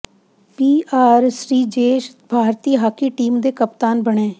ਪੀ R Sreejesh ਭਾਰਤੀ hockey team ਦੇ ਕਪਤਾਨ ਬਣੇ